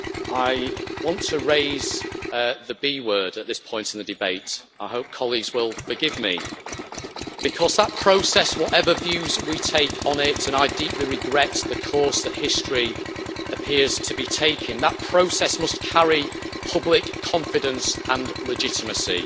I want to raise the B' word at this point in the debate, and I hope colleagues will forgive me, because that process whatever views we take on it, and I deeply regret the course that history appears to be taking must carry public confidence and legitimacy.